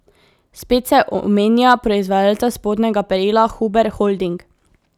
Spet se omenja proizvajalca spodnjega perila Huber Holding.